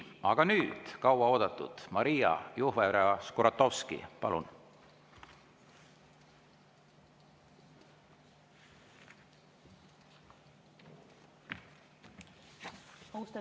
Aga nüüd kaua oodatud Maria Jufereva-Skuratovski, palun!